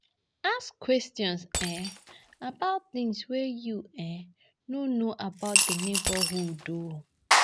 Ask questions um about things wey you um no know about for di neighbourhood um